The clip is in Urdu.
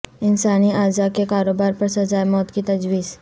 انسانی اعضا کے کاروبار پر سزائے موت کی تجویز